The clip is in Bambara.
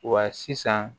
Wa sisan